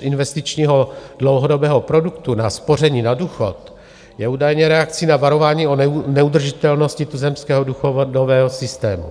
investičního dlouhodobého produktu na spoření na důchod je údajně reakcí na varování o neudržitelnosti tuzemského důchodového systému.